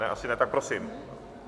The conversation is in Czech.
Ne, asi ne, tak prosím.